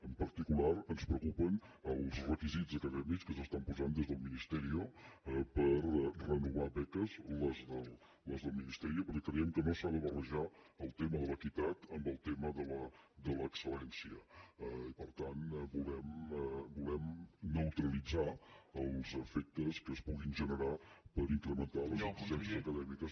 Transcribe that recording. en particular ens preocupen els requisits acadèmics que s’estan posant des del ministerio per renovar beques les del ministeriorejar el tema de l’equitat amb el tema de l’excelper tant volem neutralitzar els efectes que es puguin generar per incrementar les exigències acadèmiques